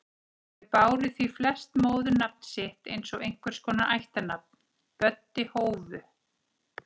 Þau báru því flest móðurnafn sitt eins og einhvers konar ættarnafn: Böddi Hófu